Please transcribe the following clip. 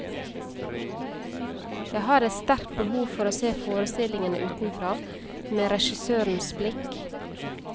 Jeg har et sterkt behov for å se forestillingen utenfra, med regissørens blikk.